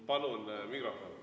Palun mikrofon.